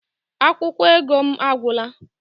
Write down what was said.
Akwụkwọ ego m agwụla